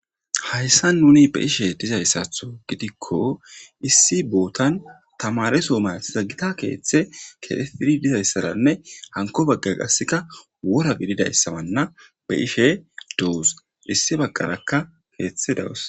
Hayssan nuni be ishe dizayssatho gidikko issi bootan tamaresooma iza gita keeththe keefidi dizayssaranne hanko bagga qasseka wora bididayssamanna be ishe doos issi bagarakka keeththe dawus.